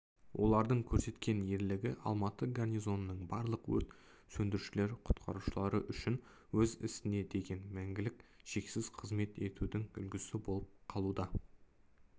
олардың көрсеткен ерлігі алматы гарнизонының барлық өрт сөндірушілер-құтқарушылары үшін өз ісіне деген мәңгілік шексіз қызмет етудің үлгісі болып қалуда